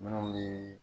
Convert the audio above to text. Minnu ye